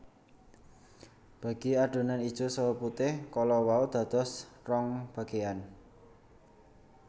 Bagi adonan ijo saha putih kala wau dados rong bageyan